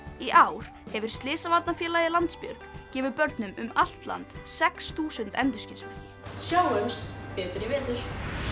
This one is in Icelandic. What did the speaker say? í ár hefur Slysavarnafélagið Landsbjörg gefið börnum um allt land sex þúsund endurskinsmerki sjáumst betur í vetur